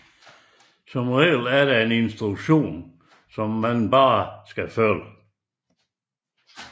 Som oftest er der en instruktion som man blot kan følge